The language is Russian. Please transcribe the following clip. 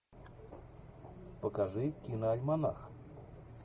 покажи киноальманах